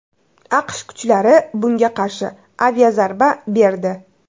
AQSh kuchlari bunga qarshi aviazarba berdi.